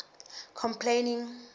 complaining